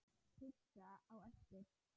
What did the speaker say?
Pizza á eftir.